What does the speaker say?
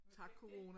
Tak corona